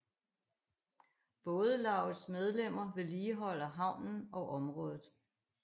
Bådelaugets medlemmer vedligeholder havnen og området